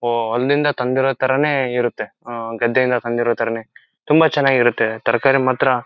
ಹೋವ್ ಅಲ್ಲಿಂದ ತಂದಿರೋ ತರನೇ ಇರುತ್ತೆ ಆ ಗದ್ದೆಯಿಂದ ತಂದಿರೋ ತರನೇ ಇರುತ್ತೆ ತುಂಬಾ ಚೆನ್ನಾಗ್ ಆಗಿ ಇರುತ್ತೆ ತರಕಾರಿ ಮಾತ್ರ--